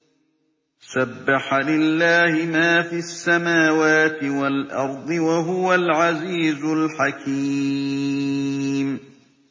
سَبَّحَ لِلَّهِ مَا فِي السَّمَاوَاتِ وَالْأَرْضِ ۖ وَهُوَ الْعَزِيزُ الْحَكِيمُ